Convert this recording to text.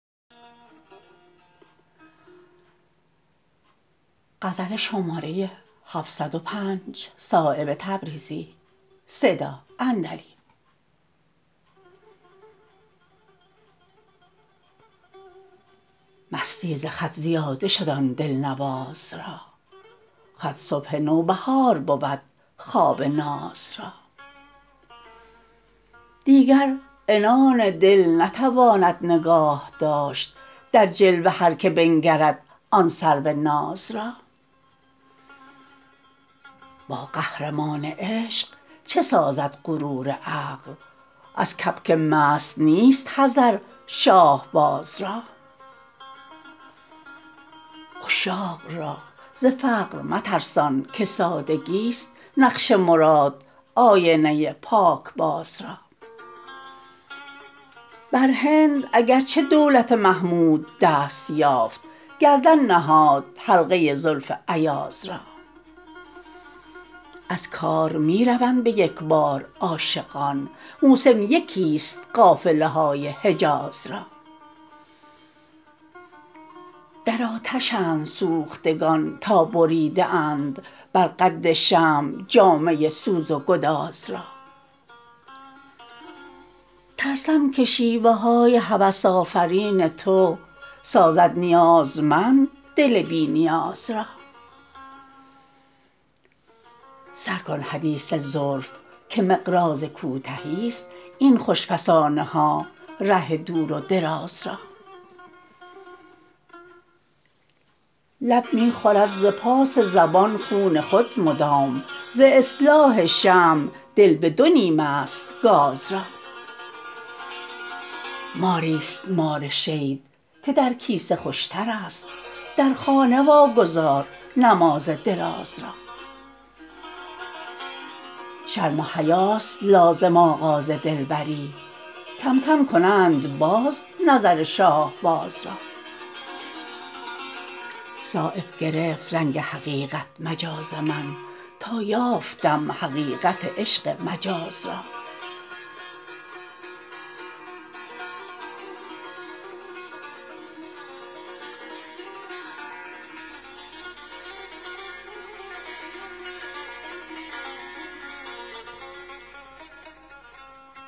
مستی ز خط زیاده شد آن دلنواز را خط صبح نوبهار بود خواب ناز را دیگر عنان دل نتواند نگاه داشت در جلوه هر که بنگرد آن سرو ناز را با قهرمان عشق چه سازد غرور عقل از کبک مست نیست حذر شاهباز را عشاق را ز فقر مترسان که سادگی است نقش مراد آینه پاکباز را برهند اگر چه دولت محمود دست یافت گردن نهاد حلقه زلف ایاز را از کار می روند به یکبار عاشقان موسم یکی است قافله های حجاز را در آتشند سوختگان تا بریده اند بر قد شمع جامه سوز و گداز را ترسم که شیوه های هوس آفرین تو سازد نیازمند دل بی نیاز را سر کن حدیث زلف که مقراض کوتهی است این خوش فسانه ها ره دور و دراز را لب می خورد ز پاس زبان خون خود مدام ز اصلاح شمع دل به دو نیم است گاز را ماری است مار شید که در کیسه خوشترست در خانه واگذار نماز دراز را شرم و حیاست لازم آغاز دلبری کم کم کنند باز نظر شاهباز را صایب گرفت رنگ حقیقت مجاز من تا یافتم حقیقت عشق مجاز را